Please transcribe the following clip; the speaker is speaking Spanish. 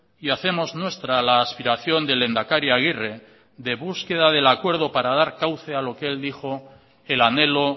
y hacemos nuestra la aspiración del lehendakari aguirre de búsqueda del acuerdo para dar cauce a lo que él dijo el anhelo